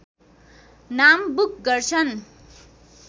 नाम बुक गर्छन्